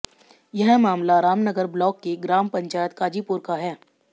यह मामला रामनगर ब्लॉक की ग्राम पंचायत काजीपुर का है